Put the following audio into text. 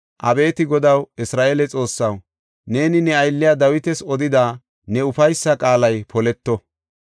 Abeeti Godaw, Isra7eele Xoossaw, neeni ne aylliya Dawitas odida ne ufaysa qaalay poleto.